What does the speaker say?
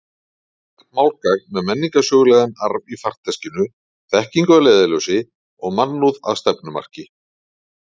Þitt málgagn með menningarsögulegan arf í farteskinu, þekkingu að leiðarljósi og mannúð að stefnumarki.